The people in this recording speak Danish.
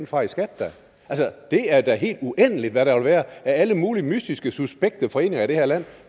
fra i skat det er da helt uendeligt hvad der vil være af alle mulige mystiske suspekte foreninger i det her land